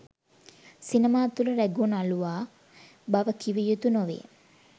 සිනමා තුළ රැඟූ නළුවා බව කිව යුතු නොවේ